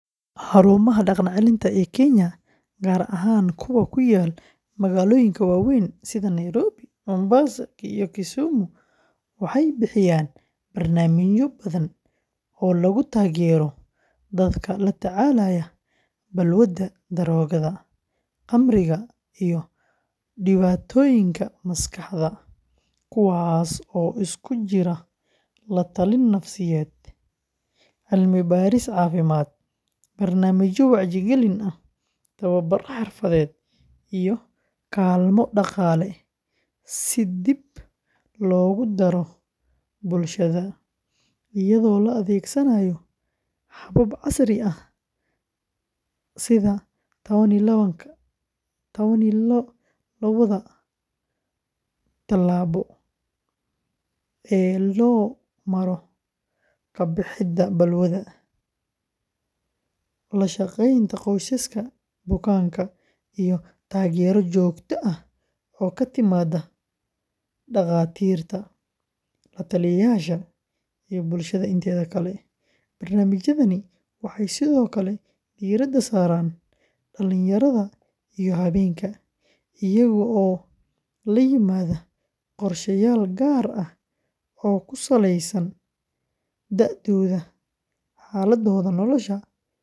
Xarumaha dhaqan-celinta ee Kenya, gaar ahaan kuwa ku yaal magaalooyinka waaweyn sida Nairobi, Mombasa, iyo Kisumu, waxay bixiyaan barnaamijyo badan oo lagu taageerayo dadka la tacaalaya balwadda daroogada, khamriga, iyo dhibaatooyinka maskaxda, kuwaas oo isugu jira la-talin nafsiyeed, cilmibaaris caafimaad, barnaamijyo wacyigelin ah, tababbar xirfadeed, iyo kaalmo dhaqaale si dib loogu daro bulshada, iyadoo la adeegsanayo habab casri ah sida tawan iyo lawaad tallaabo ee loo maro ka-bixidda balwadda, la shaqeynta qoysaska bukaanka, iyo taageero joogto ah oo ka timaadda dhaqaatiirta, la-taliyeyaasha, iyo bulshada inteeda kale; barnaamijyadani waxay sidoo kale diiradda saaraan dhallinyarada iyo haweenka, iyagoo la yimaada qorshayaal gaar ah oo ku saleysan da’dooda, xaaladdooda nolosha, iyo heerka.